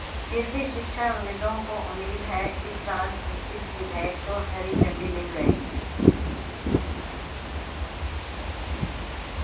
फिर भी शिक्षाविदों को उम्मीद है इस साल इस विधेयक को हरी झंडी मिल जाएगी